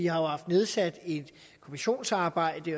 har haft nedsat et kommissionsarbejde